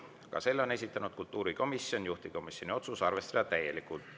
Ka selle on esitanud kultuurikomisjon, juhtivkomisjoni otsus on arvestada täielikult.